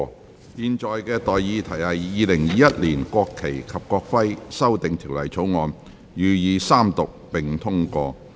我現在向各位提出的待議議題是：《2021年國旗及國徽條例草案》予以三讀並通過。